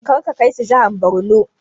Karka kai su jihar Borno!